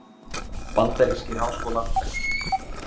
Bandarískir háskólar bestir